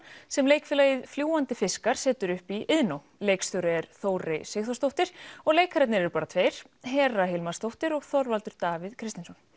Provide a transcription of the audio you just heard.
sem leikfélagið fljúgandi fiskar setur upp í Iðnó leikstjóri er Þórey Sigþórsdóttir og leikararnir eru bara tveir Hera Hilmarsdóttir og Þorvaldur Davíð Kristinsson